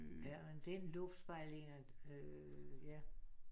Ja men den luftspejlinger øh ja